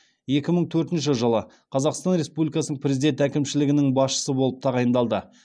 екі мың төртінші жылы қазақстан республикасының президент әкімшілігінің басшысы болып тағайындалды